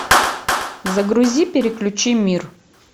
загрузи переключи мир